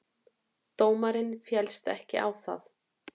Dómarinn féllst ekki á það.